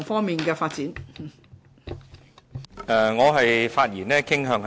你的發言已經離題......